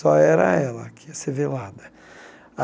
Só era ela que ia ser velada.